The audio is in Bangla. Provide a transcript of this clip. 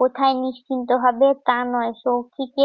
কোথায় নিশ্চিন্ত হবে? তা নয় সৌখিকে